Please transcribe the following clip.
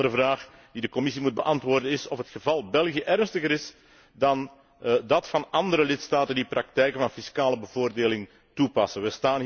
Een andere vraag die de Commissie moet beantwoorden, is is het geval 'België' ernstiger dan dat van andere lidstaten die praktijken van fiscale bevoordeling toepassen?